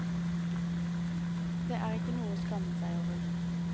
Det er ikke noe å skamme seg over.